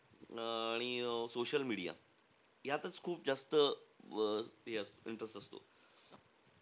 अं आणि social media. यातचं खूप जास्त अं हे interest असतो.